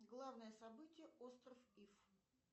главное событие остров иф